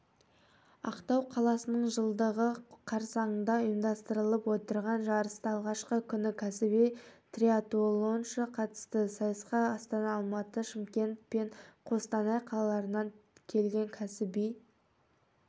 ақтау қаласының жылдығы қарсаңында ұйымдастырылып отырған жарыста алғашқы күні кәсіби триатлоншы қатысты сайысқа астана алматы шымкент пен қостанай қалаларынан келген кәсіби